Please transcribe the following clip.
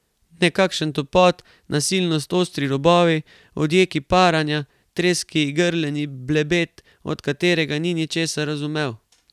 Nekakšen topot, nasilnost, ostri robovi, odjeki paranja, treski, grleni blebet, od katerega ni ničesar razumel.